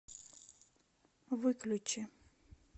выключи